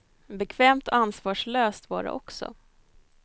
Bekvämt och ansvarslöst var det också.